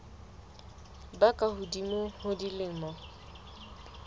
ba ka hodimo ho dilemo